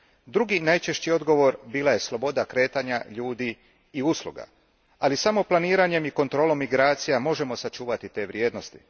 Drugi najčešći odgovor bila je sloboda kretanja ljudi i usluga. Ali, samo planiranjem i kontrolom migracija možemo sačuvati te vrijednosti.